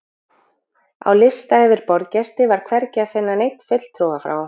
Á lista yfir boðsgesti var hvergi að finna neinn fulltrúa frá